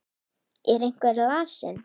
Er einhver lasinn?